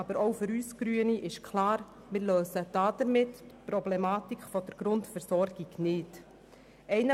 Aber für uns Grüne ist klar, dass wir damit die Problematik der Grundversorgung nicht lösen.